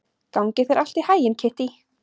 Gangi þér allt í haginn, Kittý.